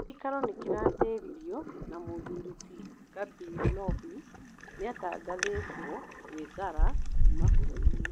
Gĩikaro nĩkĩratĩririo na mũthũri ti Gabirobi nĩatangathĩtwo gwĩthara kuma bũrũrinĩ